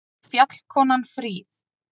Fjallkonan fríð!